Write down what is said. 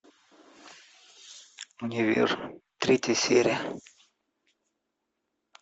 универ третья серия